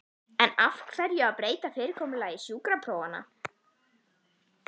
En af hverju að breyta fyrirkomulagi sjúkraprófanna?